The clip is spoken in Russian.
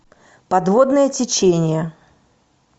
подводное течение